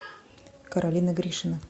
каролина гришина